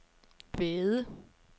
Væde